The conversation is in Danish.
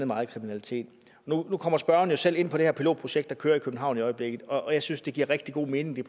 meget kriminalitet nu kommer spørgeren jo selv ind på det her pilotprojekt der kører i københavn i øjeblikket og jeg synes det giver rigtig god mening